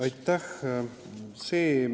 Aitäh!